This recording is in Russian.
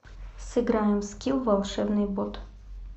сыграем в скилл волшебный бот